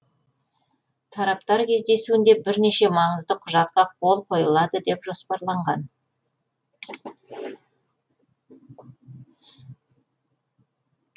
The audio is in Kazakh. тараптар кездесуінде бірнеше маңызды құжатқа қол қойылады деп жоспарланған